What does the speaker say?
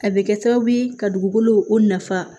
A bɛ kɛ sababu ye ka dugukolo o nafa